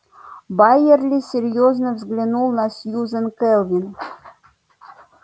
байерли серьёзно взглянул на сьюзен кэлвин